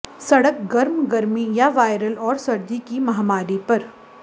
सड़क गर्म गर्मी या वायरल और सर्दी की महामारी पर